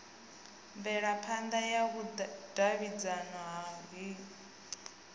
mvelaphana ya vhudavhidzano ha hingo